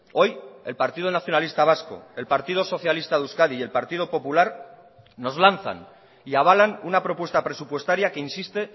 hoy el partido nacionalista vasco el partido socialista de euskadi y el partido popular nos lanzan y avalan una propuesta presupuestaria que insiste